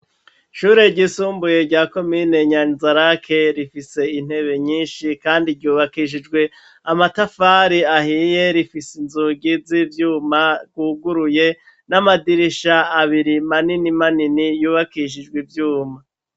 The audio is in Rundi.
Ishure ryisumbuye rya komine Nyanza-Lac rifise intebe nyinshi kandi ryubakishijwe amatafari ahiye, rifise inzugi z'ivyuma zuguruye n'amadirisha abiri manini manini yubakishijwe ivyuma.